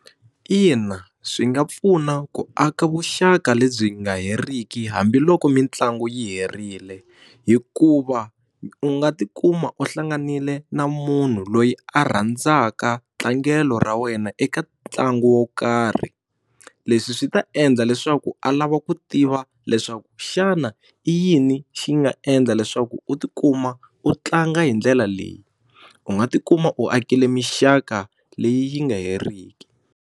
Ina swi nga pfuna ku aka vuxaka lebyi nga heriki hambiloko mitlangu yi herile hikuva u nga tikuma u hlanganile na munhu loyi a rhandzaka tlangelo ra wena eka ntlangu wo karhi leswi swi ta endla leswaku a lava ku tiva leswaku xana i yini xi nga endla leswaku u tikuma u tlanga hi ndlela leyi u nga tikuma u akile mixaka leyi yi nga heriki.